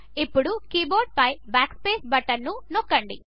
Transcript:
ఇప్పుడు కీబోర్డుపై Backspace button నొక్కండి